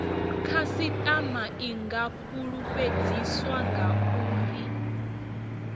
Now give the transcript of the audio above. khasitama i nga fulufhedziswa uri